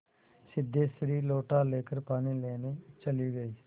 सिद्धेश्वरी लोटा लेकर पानी लेने चली गई